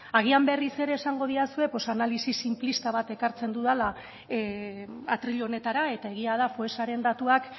agian berriz ere esango didazue analisi sinplista bat ekartzen dudala atril honetara eta egia da foessaren datuak